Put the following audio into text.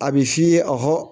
A bɛ f'i ye a hɔ